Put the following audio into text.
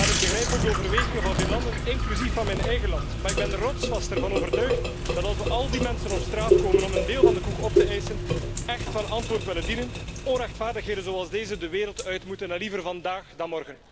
Ik begrijp ook de overwegingen van vele landen, inclusief van mijn eigen land, maar ik ben er rotsvast van overtuigd dat als we al die mensen die op straat komen om hun deel van de koek op te eisen echt van antwoord willen dienen, onrechtvaardigheden zoals deze de wereld uit moeten, en liever vandaag dan morgen.